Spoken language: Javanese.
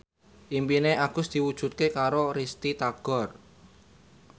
impine Agus diwujudke karo Risty Tagor